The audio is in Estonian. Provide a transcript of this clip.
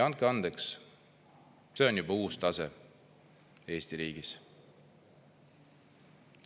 Andke andeks, see on juba uus tase Eesti riigis.